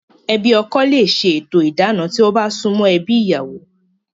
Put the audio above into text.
Ẹbi ọkọ le se to ìdáná, tí wọ́n bá sumo ebi ìyàwó